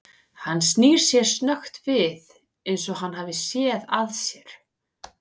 Hann snýr sér snöggt við eins og hann hafi séð að sér.